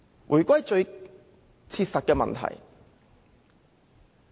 回歸最切實的問題。